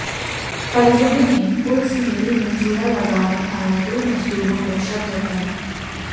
परिजनों ने उर्स मेले में झूला लगाने आए दो मजदूरों पर शक जताया